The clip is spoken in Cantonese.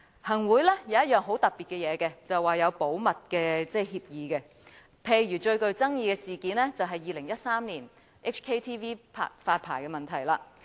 行會有一樣很特別的東西，便是有保密協議，例如最具爭議的事件是2013年港視發牌的問題。